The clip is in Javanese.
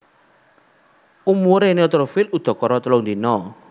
Umuré neutrofil udakara telung dina